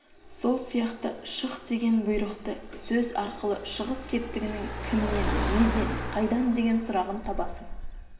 сол сияқты шық деген бұйрықты сөз арқылы шығыс септігінің кімнен неден қайдан деген сұрағын табасың